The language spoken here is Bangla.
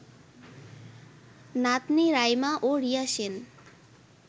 নাতনি রাইমা ও রিয়া সেন